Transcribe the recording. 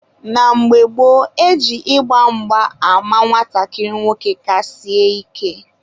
na mgbe gboo, e ji ịgba mgba ama nwatakịrị nwoke ka sie ike.